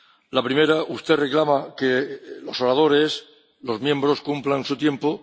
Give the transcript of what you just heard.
La primera usted reclama que los oradores, los miembros cumplan su tiempo